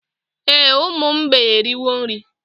Ee, ụmụ mgbei eriwo nri